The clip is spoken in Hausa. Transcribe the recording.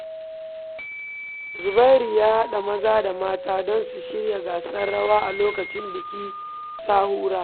Zubairu ya haɗa maza da mata don su shirya gasar rawa a lokacin bikin Sahura.